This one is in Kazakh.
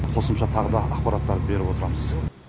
қосымша тағы да ақпараттарды беріп отырамыз